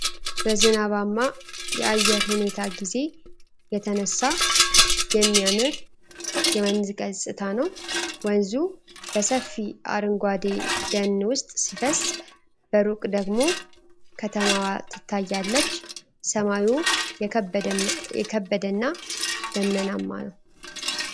በዝናባማ የአየር ሁኔታ ጊዜ የተነሳ የሚያምር የወንዝ ገጽታ ነው። ወንዙ በሰፊ አረንጓዴ ደን ውስጥ ሲፈስ፥ በሩቅ ደግሞ ከተማዋ ትታያለች። ሰማዩ የከበደና ደመናማ ነው።